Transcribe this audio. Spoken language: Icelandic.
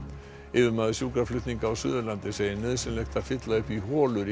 yfirmaður sjúkraflutninga á Suðurlandi segir nauðsynlegt að fylla upp í holur í